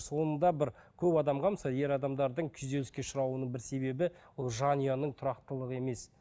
соңында бір көп адамға мысалы ер адамдардың күйзеліске ұшырауының бір себебі ол жанұяның тұрақтылығы емес